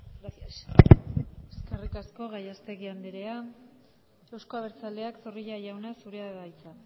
gracias eskerrik asko gallastegui andrea euzko abertzaleak zorrilla jauna zurea da hitza